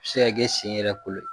Se ka kɛ sen yɛrɛ kolo ye.